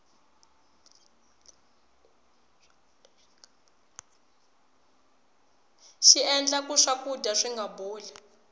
xiendla ku swakudya swinga boli